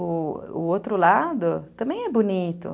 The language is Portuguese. O outro lado também é bonito.